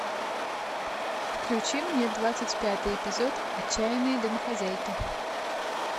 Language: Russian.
включи мне двадцать пятый эпизод отчаянные домохозяйки